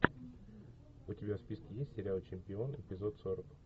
у тебя в списке есть сериал чемпион эпизод сорок